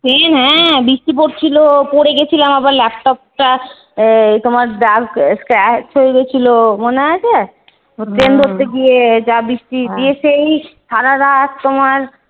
হ্যাঁ বৃষ্টি পড়ছিল পরে গেছিলাম আবার laptop টা তোমার দাগ এই Scratch হয়েগেছিল মনে আছে? ট্রেন ধরতে গিয়ে। যা বৃষ্টি দিয়েছে এই সারারাত তোমার